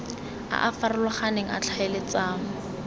a a farologaneng a tlhaeletsano